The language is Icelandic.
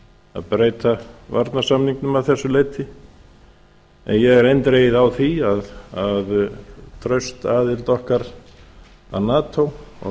að breyta varnarsamningnum að þessu leyti en ég er eindregið á því að traust aðild okkar að nato og